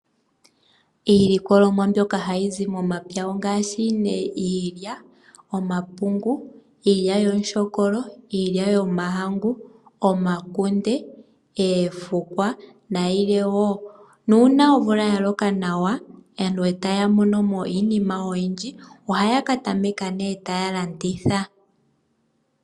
Iilikolomwa mbyoka hayi zi momapya ongaashi nee: Iilya, omapungu, iilyaalyaka, iilya yomahangu, omakunde, oofukwa nayilwe wo. Nuuna omvula ya loka nawa aantu etaya mono mo iinima oyindji ohaya katameka nee taya landitha.